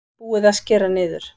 Búið að skera niður